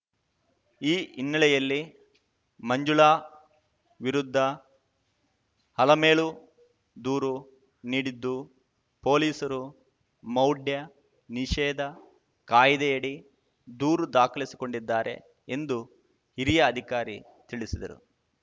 ಈ ಹಿನ್ನೆಲೆಯಲ್ಲಿ ಮಂಜುಳಾ ವಿರುದ್ಧ ಅಲಮೇಲು ದೂರು ನೀಡಿದ್ದು ಪೊಲೀಸರು ಮೌಢ್ಯ ನಿಷೇಧ ಕಾಯ್ದೆಯಡಿ ದೂರು ದಾಖಲಿಸಿಕೊಂಡಿದ್ದಾರೆ ಎಂದು ಹಿರಿಯ ಅಧಿಕಾರಿ ತಿಳಿಸಿದರು